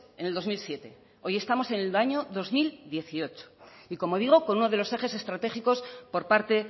en el dos mil siete hoy estamos en el año dos mil dieciocho y como digo con uno de los ejes estratégicos por parte